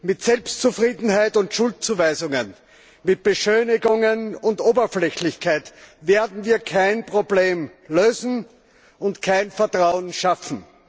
Mit Selbstzufriedenheit und Schuldzuweisungen, mit Beschönigungen und Oberflächlichkeit werden wir kein Problem lösen und kein Vertrauen schaffen.